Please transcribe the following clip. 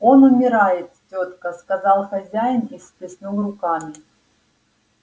он умирает тётка сказал хозяин и всплеснул руками